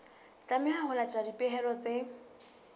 tlameha ho latela dipehelo tse